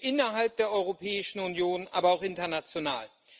innerhalb der Europäischen Union, aber auch international.